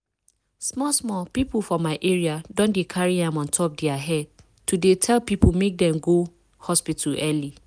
small small people for my area don dey carry am on top their head to dey tell people make dem go hospital early.